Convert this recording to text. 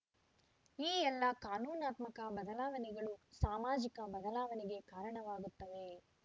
ಈ ಎಲ್ಲಾ ಕಾನೂನಾತ್ಮಕ ಬದಲಾವಣೆಗಳು ಸಾಮಾಜಿಕ ಬದಲಾವಣೆಗೆ ಕಾರಣವಾಗುತ್ತವೆ